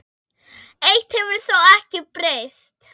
Eitt hefur þó ekki breyst.